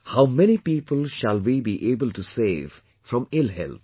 How many people shall we be able to save from ill health